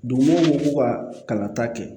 Dugudenw ko k'u ka kalan ta kɛ